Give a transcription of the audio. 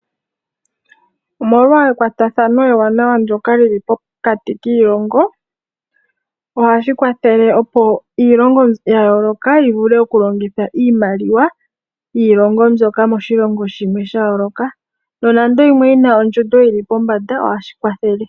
Omolwa ekwatathano ewanawa ndyoka lili pokati kiilongo ohashi kwathele opo iilongo ya yooloka yivule okulongitha iimaliwa yiilongo mbyoka moshilongo shimwe sha yooloka. Nonando yimwe yina ondjundo yili pombanda ohashi kwathele.